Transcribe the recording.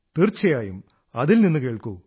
തീർച്ചയായും അതിൽ നിന്നു കേൾക്കൂ